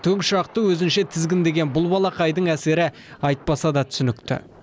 тікұшақты өзінше тізгіндеген бұл балақайдың әсері айтпаса да түсінікті